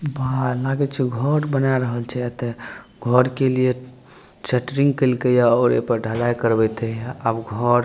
भाए लागे छै घर बना रहल छै एता घर के लिए सेट्रिंग केल के ये और एय पर ढलाई करवेते ये आब घर --